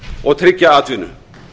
og tryggja atvinnu